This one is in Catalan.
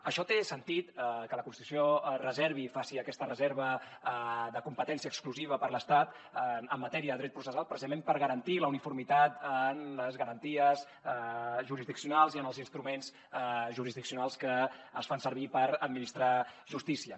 això té sentit que la constitució faci aquesta reserva de competència exclusiva per a l’estat en matèria de dret processal precisament per garantir la uniformitat en les garanties jurisdiccionals i en els instruments jurisdiccionals que es fan servir per administrar justícia